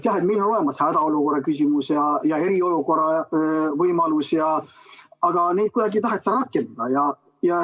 Jah, meil on olemas hädaolukorra ja eriolukorra võimalus, aga neid kuidagi ei taheta rakendada.